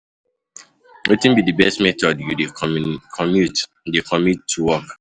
wetin be di best method you dey commute dey commute to work?